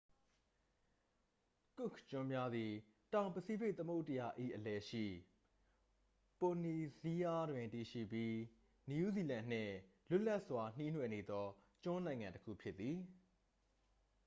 ကွက်ခ်ကျွန်းများသည် တောင်ပစိဖိတ် သမုဒ္ဒရာ၏ အလယ်ရှိ ပိုလီနီးရှားတွင် တည်ရှိပြီး နယူးဇီလန်နှင့် လွတ်လပ်စွာ နှီးနွှယ်နေသော ကျွန်းနိုင်ငံတစ်ခု ဖြစ်သည်